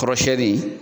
Kɔrɔsiyɛnni